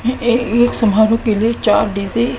हैं ये एक समारोह के लिए चार डी_जे --